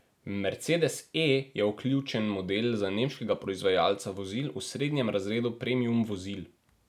Mercedes E je ključen model za nemškega proizvajalca vozil v srednjem razredu premium vozil.